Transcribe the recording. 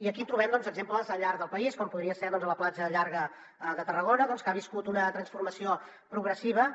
i aquí trobem exemples al llarg del país com podria ser doncs la platja llarga de tarragona que ha viscut una transformació progressiva